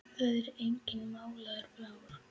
Það er enginn málaður blár.